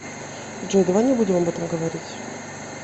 джой давай не будем об этом говорить